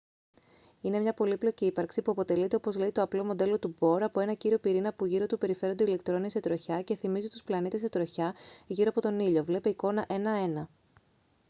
είναι μια πολύπλοκη ύπαρξη που αποτελείται όπως λέει το απλό μοντέλο του μπορ από ένα κύριο πυρήνα που γύρω του περιφέρονται ηλεκτρόνια σε τροχιά και θυμίζει τους πλανήτες σε τροχιά γύρω από τον ήλιο βλ εικόνα 1.1